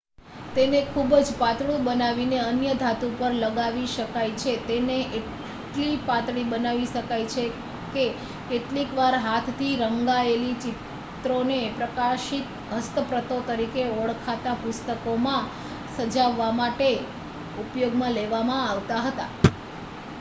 "તેને ખૂબ જ પાતળું બનાવીને અન્ય ધાતુ પર લગાવી શકાય છે. તેને એટલી પાતળી બનાવી શકાય કે કેટલીક વાર હાથથી રંગાયેલા ચિત્રોને "પ્રકાશિત હસ્તપ્રતો" તરીકે ઓળખાતા પુસ્તકોમાં સજાવાવવા માટે ઉપયોગમાં લેવામાં આવતા હતા.